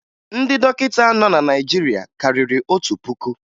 Ndị dọkịta nọ na Naịjirịa karịrị otu puku